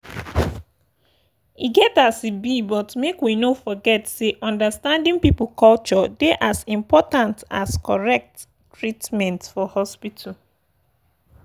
e get as e be but make we no forget say understanding people culture dey as important as correct treatment for hospital.